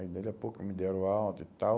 Aí, daqui a pouco, me deram o alta e tal.